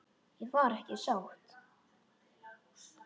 Ég var ekki sátt.